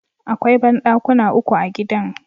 Akwai banɗakuna uku a gidan.